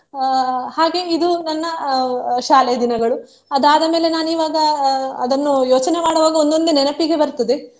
ಅಹ್ ಹಾಗೆ ಇದು ನನ್ನ ಅಹ್ ಅಹ್ ಶಾಲೆಯ ದಿನಗಳು ಅದಾದ ಮೇಲೆ ನಾನ್ ಇವಾಗ ಅಹ್ ಅದನ್ನು ಯೋಚನೆ ಮಾಡುವಾಗ ಒಂದೊಂದೆ ನೆನಪಿಗೆ ಬರ್ತದೆ.